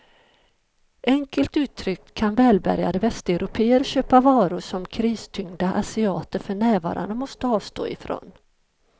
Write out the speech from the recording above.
Enkelt uttryckt kan välbärgade västeuropéer köpa varor som kristyngda asiater för närvarande måste avstå ifrån.